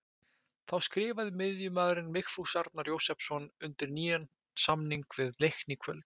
Þá skrifaði miðjumaðurinn Vigfús Arnar Jósepsson undir nýjan samning við Leikni í kvöld.